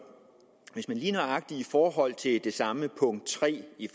lige nøjagtig i forhold til det samme punkt tre